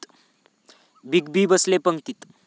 Big B बसले पंगतीत!